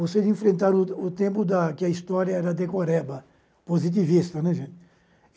vocês enfrentaram o o tempo da em que a história era decoreba, positivista, né gente.